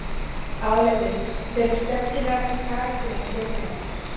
Álitið: Hver er skemmtilegasti karakterinn í deildinni?